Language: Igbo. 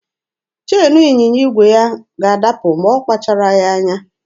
Cheenu ịnyịnya igwe ya ga-adapụ ma ọ kpacharaghị anya.